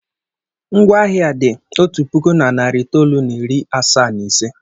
Ngwaahịa a dị otu puku na narị itoolu na iri asaa na ise.